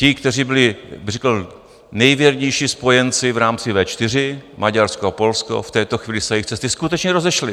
Ti, kteří byli, bych řekl, nejvěrnější spojenci v rámci V4, Maďarsko a Polsko, v této chvíli se jejich cesty skutečně rozešly.